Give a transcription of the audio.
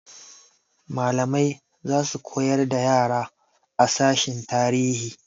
Malamai za su koyar da yara a sashen tarihi.